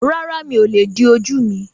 Rárá, mí o lè di ojú mi